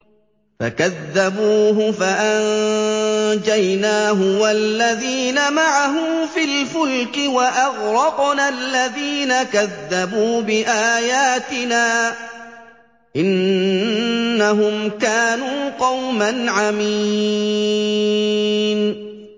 فَكَذَّبُوهُ فَأَنجَيْنَاهُ وَالَّذِينَ مَعَهُ فِي الْفُلْكِ وَأَغْرَقْنَا الَّذِينَ كَذَّبُوا بِآيَاتِنَا ۚ إِنَّهُمْ كَانُوا قَوْمًا عَمِينَ